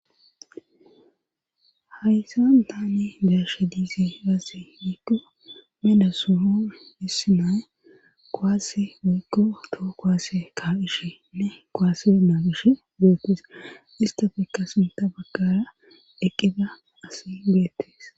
hayssan tane darshe diisi gase wiikko meda suho hissi nay koaase guikko too koase kaaqishenne koasenaa gish deetes istafekka sinta baggara eqqida asi guyettes